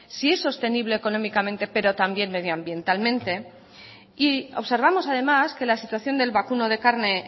si es sostenible económicamente pero también medioambientalmente y observamos además que la situación del vacuno de carne